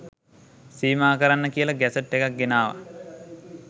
සීමා කරන්න කියලා ගැසට් එකක් ගෙනාවා